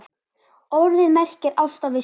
Orðið merkir ást á visku.